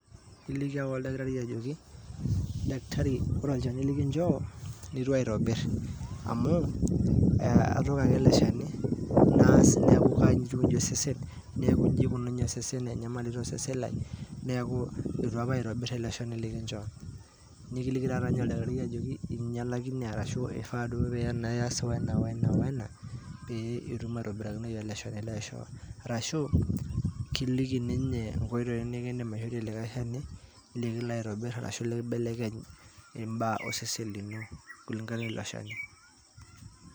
Iliki ake oldakitari ajoki ,daktari ore olchani likinchoo nituaitobir ,amu atooko ake ele Shani naas niaku kaikuni osesen neaku inji ikununye osesen Lai .neaku itu apa aitobir ele Shani likincho. niki taata oldakitari tenaa inyalakine olchani ashu inji ifaa pias ena o ena pee kitum aitobirakinoyu ele Shani laishoo. Arashu kiliki ninye nkoitoi